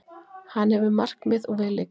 Hann hefur markmið, og við líka.